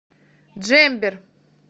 джембер